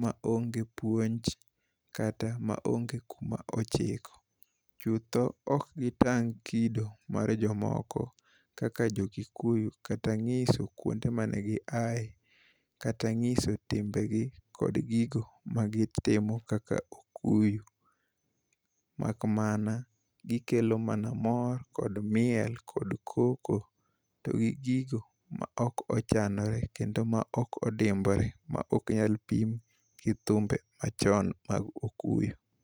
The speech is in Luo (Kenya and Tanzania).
ma onge puonj kata ma onge kuma ochike. Chutho ok gitang' kido mar jomoko kaka jokikuyu kata nyiso kuonde mane giaye, kata nyiso gigo ma gitimo kaka okuyu. Mak mana, gikelo mor kod miel kod koko kod gigo ma ok ochanore kendo ma ok odimbore ma ok nyal pim gi thumbe machon mag okuyu.